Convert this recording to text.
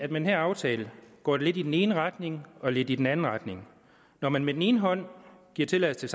den her aftale går det lidt i den ene retning og lidt i den anden retning når man med den ene hånd giver tilladelse